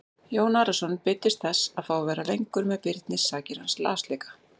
Jón Arason beiddist þess að fá að vera lengur með Birni sakir hans lasleika.